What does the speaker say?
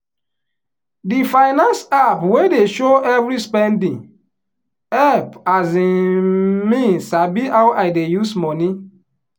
the finance app wey dey show every spending help um me sabi how i dey use money.